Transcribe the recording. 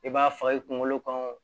I b'a fa i kunkolo kɔnɔ